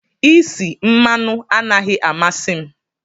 Isi mmanụ anaghị amasị m.